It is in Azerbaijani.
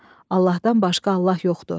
Allahdan başqa Allah yoxdur.